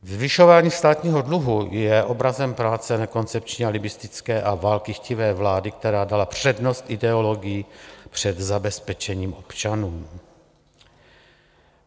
Zvyšování státního dluhu je obrazem práce nekoncepční, alibistické a válkychtivé vlády, která dala přednost ideologii před zabezpečením občanů.